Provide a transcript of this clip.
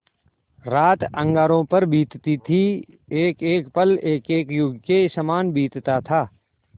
रात अंगारों पर बीतती थी एकएक पल एकएक युग के सामान बीतता था